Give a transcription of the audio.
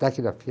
Taquigrafia.